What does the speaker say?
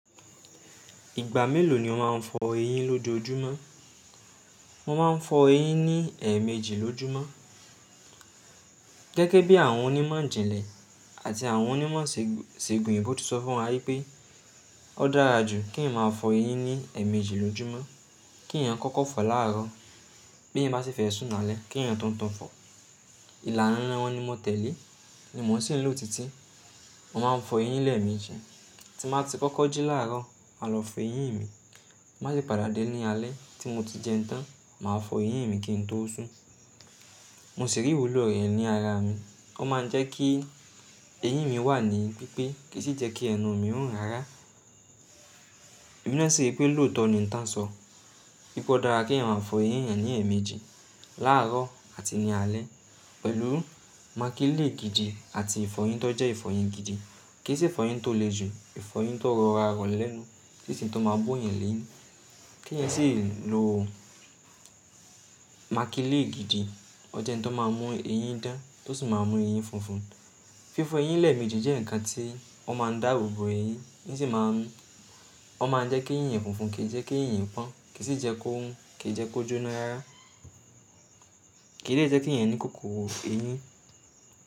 Ìgbà mélòó ni o máa ń fọ eyín lokoojúmọ́? Mo maa n fọ̀ eyin ni2. Gẹ́gẹ́ bi àwọn oni ìmọ̀ ìjìnlẹ̀ àti àwọn oni ìmọ̀ iṣegun oyibo ti sọ fún wa wípé o dára. Nu ki èèyàn ma fọ eyin ki èèyàn kọkọ fọ l'àárò bi eyan va sif. Ìlànà wọn ni mo tẹ̀lé, ni mo sì ń lò títí. Mo máa ń fọ eyín lẹ́ẹ̀mejì. Ti n bá ti kọ́kọ́ jí láàárọ̀, màá lọ fọ eyín mi. Ti n ba de padà dé ní alẹ́ tí mo ti jẹun tán, màá fọ eyín mi kí n tó sún. Mo sì rí ìwúlò rẹ̀ ní ara mi. O máa n jẹ kí eyin mí wá ní pípé, ki sí jẹ ki ẹnu mi run rárá. Ẹ̀m náà sì ri pé lóòótọ́ ni ìtàn sọ. Pe o dára kí èèyàn máa fọ eyín eeyan ní ẹ̀ẹ̀mejì: láàárọ̀ àti ní alẹ́ pẹ̀lú màkìlín gìdì àti ìfọyín tó jẹ́ ìfọyín gidi. Kì í ṣe ìfọyín tó le jù, ìfọyín tó rọra lẹ́nu, kí n ṣe èyí tó máa bó yẹn lẹ́yìn. Ki èèyàn sí lo makilin gidi, o jẹ òun tó má mú eyin dan ti o sí má mú eyin funfun. Fífọ eyín lẹ́ẹ̀mejì jẹ́ nǹkan tí ó máa ń dáàbò bo eyín, ó sì máa ń jẹ́ kí eyín yẹn funfun, kì í jẹ́ kí eyín pọ́n, kì í sì jẹ́ kó run, kì í jẹ́ kó jóná yára, kì i dẹ jẹ́ kí èèyàn ní kòkòrò eyín.